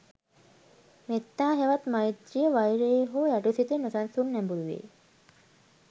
මෙත්තා හෙවත් මෛත්‍රීය, වෛරයේ හෝ යටි සිතේ නොසන්සුන් නැඹුරුවේ